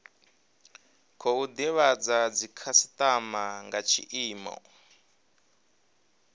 khou divhadza dzikhasitama nga tshiimo